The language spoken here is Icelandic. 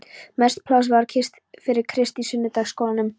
Mest pláss var fyrir Krist í sunnudagaskólanum.